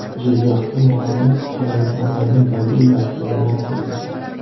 Jizzaxda muqaddas qadamjolarning mobil dasturi yaratildi.